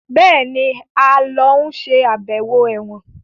Béèni a ló ń ṣe ibẹwo èwòn.